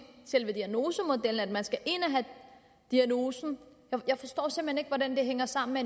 selve diagnosemodellen at skal ind og have diagnosen jeg forstår simpelt hen ikke hvordan det hænger sammen med